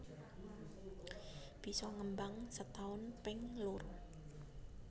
Bisa ngembang setaun ping loro